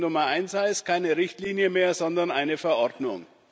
Die Lösung Nummer eins heißt, keine Richtlinie mehr, sondern eine Verordnung.